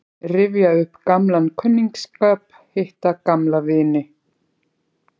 Rifja upp gamlan kunningsskap, hitta gamla vini.